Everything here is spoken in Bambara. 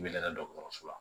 I bɛ lada dɔkɔtɔrɔso la